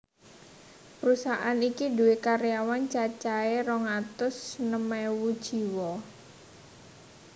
Prusahaan iki duwé karyawan cacahé rong atus enem ewu jiwa